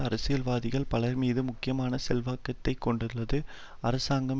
அரசியல்வாதிகள் பலர்மீதும் முக்கியமான செல்வாக்கை கொண்டுள்ள அரசாங்கம்